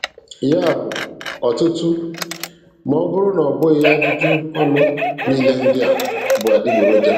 Ya bụ, ọtụtụ, ma ọ bụrụ na ọ bụghị ajụjụ ọnụ niile ndị a bụ adịgboroja.